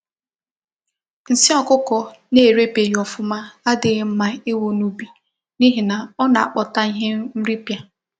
Nsị ọkụkọ na ere beghi ofuma adịghị mma iwu na ubi, n'ihina ona akpota ihe nri pịa